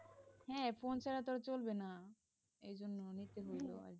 হ্যাঁ ফোন ছাড়া তো চলবে না এইজন্য নিতে হলো আরকি